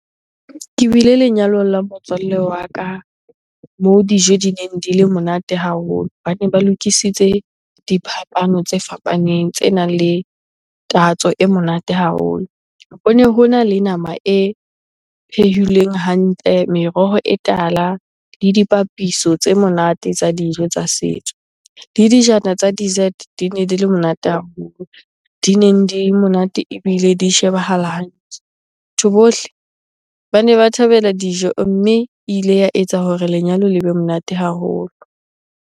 Ke bile lenyalong la motswallle wa ka moo dijo di neng di le monate haholo. Bane ba lokisitse diphapano tse fapaneng tsenang le tatso e monate haholo. Hone hona le nama e phehilweng hantle, meroho e tala le dipapiso tse monate tsa dijo tsa setso. Le dijana tsa dessert di ne di le monate haholo. Di neng monate ebile di shebahala hantle. Batho bohle bane ba thabela dijo mme ile ya etsa hore lenyalo le be monate haholo.